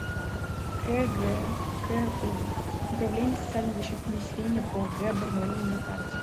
кгку управление социальной защиты населения по г барнаулу на карте